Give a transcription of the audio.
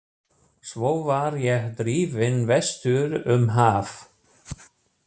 Svo var ég drifinn vestur um haf.